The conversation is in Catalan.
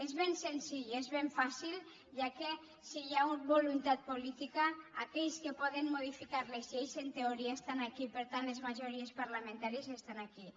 és ben senzill és ben fàcil ja que si hi ha voluntat política aquells que poden modificar les lleis en teoria estan aquí per tant les majories parlamentàries estan aquí